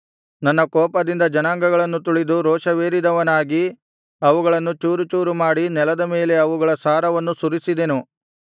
ನನ್ನ ಕೋಪದಿಂದ ಜನಾಂಗಗಳನ್ನು ತುಳಿದು ರೋಷವೇರಿದವನಾಗಿ ಅವುಗಳನ್ನು ಚೂರುಚೂರು ಮಾಡಿ ನೆಲದ ಮೇಲೆ ಅವುಗಳ ಸಾರವನ್ನು ಸುರಿಸಿದೆನು